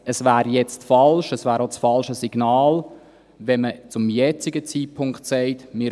Es wäre jetzt aber falsch, es wäre auch das falsche Signal, wenn man zum jetzigen Zeitpunkt sagen würde: